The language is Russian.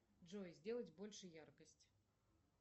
джой сделать больше яркость